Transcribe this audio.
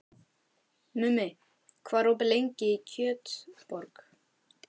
Mummi, hvað er opið lengi í Kjötborg?